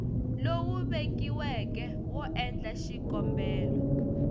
lowu vekiweke wo endla xikombelo